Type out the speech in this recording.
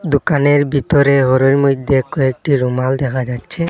দোকানের ভিতরে ঘরের মইধ্যে কয়েকটি রুমাল দেখা যাচ্ছে।